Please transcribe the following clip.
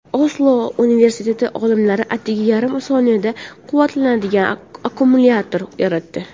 Oslo universiteti olimlari atigi yarim soniyada quvvatlanadigan akkumulyator yaratdi.